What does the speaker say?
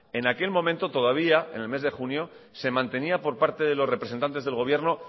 en aquel momento todavía en el mes de junio se mantenía por parte de los representantes del gobierno